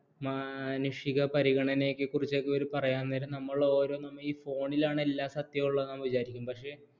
മാനുഷിക പരിഗണനയെക്കുറിച്ചൊക്കെ ഇവർ പറയാൻ നേരം നമ്മൾ ഓരോ ഈ phone ലാണ് എല്ലാ സത്യമുള്ളതെന്ന് നമ്മൾ വിചാരിക്കും പക്ഷേ